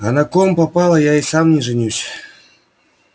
а на ком попало я и сам не женюсь